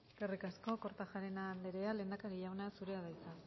eskerrik asko eskerrik asko kortajarena andrea lehendakari jauna zurea da hitza